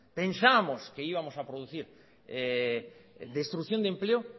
pensábamos que íbamos a producir destrucción de empleo